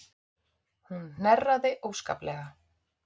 Hún hnerraði óskaplega.